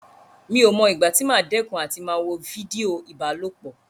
Mi ò mọ ìgbà tí màá dẹ́kun àti máa wo fídíò ìbálòpọ̀.